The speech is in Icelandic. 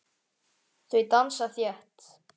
Þau dansa þétt.